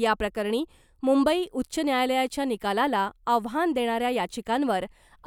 याप्रकरणी मुंबई उच्च न्यायालयाच्या निकालाला आव्हान देणाऱ्या याचिकांवर